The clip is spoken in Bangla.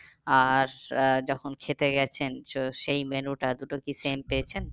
আর আহ যখন খেতে গেছেন তো সেই menu টা দুটো কি same পেয়েছেন?